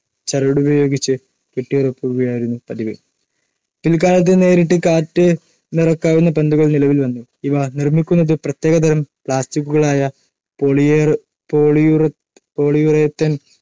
ചരടുപയോഗിച്ച് കെട്ടിയുറപ്പിക്കുകയായിരുന്നു പതിവ്. പിൽക്കാലത്ത് നേരിട്ട് കാറ്റ് നിറക്കാവുന്ന പന്തുകൾ നിലവിൽ വന്നു. ഇവ നിർമ്മിക്കുന്നത് പ്രത്യേകതരം പ്ലാസ്റ്റിക്കുകളായ പോളിയുറേ പോളിയുറേത്തേൻ